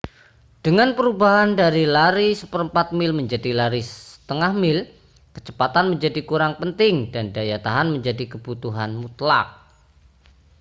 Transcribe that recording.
dengan perubahan dari lari seperempat mil menjadi lari setengah mil kecepatan menjadi kurang penting dan daya tahan menjadi kebutuhan mutlak